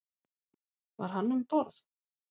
Var hann um borð?